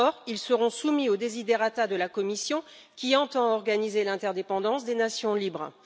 Or, ils seront soumis aux desiderata de la Commission qui entend organiser l'interdépendance des nations libres.